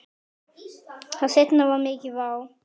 Það seinna var mikil vá.